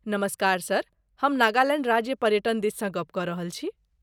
नमस्कार सर! हम नागालैण्ड राज्य पर्यटन दिससँ गप कऽ रहल छी।